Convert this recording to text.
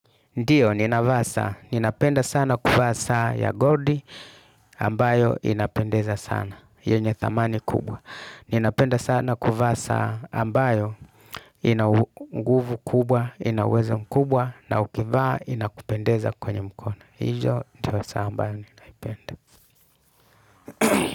Ndiyo, ninavaa saa, ninapenda sana kuvaa saa ya goldi ambayo inapendeza sana, yenye thamani kubwa. Ninapenda sana kuvaa saa ambayo ina nguvu kubwa, ina uweza mkubwa, na ukivaa inakupendeza kwenye mkono. Hijo, ndo saa ambayo ninaipende.